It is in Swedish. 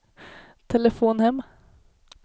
telefon hem